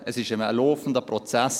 Es ist ein laufender Prozess.